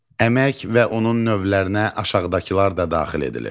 Əmək və onun növlərinə aşağıdakılar da daxil edilir: